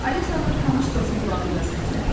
Alisanın tanış səsi qulağında səsləndi.